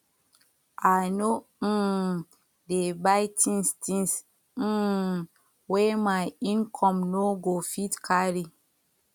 i no um dey buy tins tins um wey my income no go fit carry